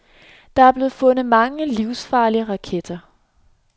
Der blev fundet mange livsfarlige raketter.